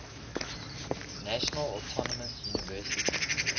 national autonomous university